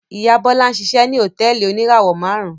Ìyá Bọ́lá ń ṣiṣẹ́ ní hòtẹ́ẹ́lì oníràwọ̀-márùn-ún.